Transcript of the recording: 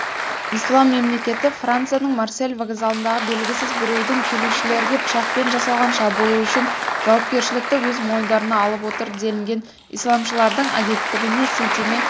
ислам мемлекеті францияның марсель вокзалындағы белгісіз біреудің келушілерге пышақпен жасалған шабуылы үшін жауапкершілікті өз мойындарына алып отыр делінген исламшылардың агенттігіне сілтеме